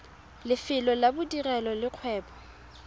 lefelo la bodirelo le kgwebo